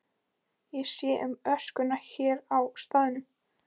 Ég sé um öskuna hér á staðnum.